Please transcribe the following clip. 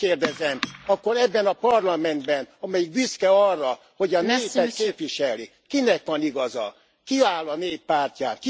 Megkérdezem akkor ebben a Parlamentben, amelyik büszke arra, hogy a népet képviseli, kinek van igaza? Ki áll a nép pártján?